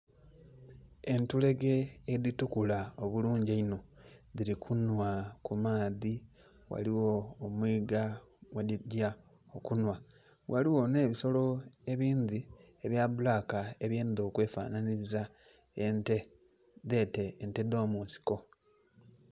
Entulege edhitukula obulungi einho dhili kunhwa ku maadhi ghaligho omwigga mwedhigya okunhwa. Ghaligho nhe ebisolo ebindhi ebya bbulaka ebyendha okwe fanhanhiliza ente dhete ente dho munsiko.